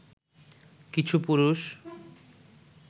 কিছু পুরুষ